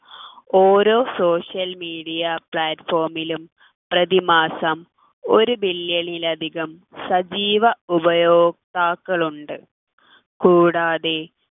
ഓരോ social media platform ലും പ്രതിമാസം ഒരു billion ൽ അധികം സജീവ ഉപയോഗ്‌താക്കൾ ഉണ്ട് കൂടാതെ